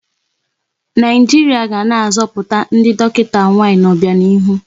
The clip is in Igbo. Naijiria ga na-azọpụta ndị dọkịta nwaanyị n'ọbianihu.